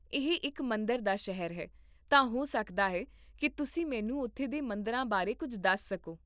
ਇਹ ਇੱਕ ਮੰਦਰ ਦਾ ਸ਼ਹਿਰ ਹੈ, ਤਾਂ ਹੋ ਸਕਦਾ ਹੈ ਕੀ ਤੁਸੀਂ ਮੈਨੂੰ ਉੱਥੇ ਦੇ ਮੰਦਰਾਂ ਬਾਰੇ ਕੁੱਝ ਦੱਸ ਸਕੋ?